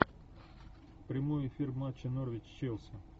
прямой эфир матча норвич челси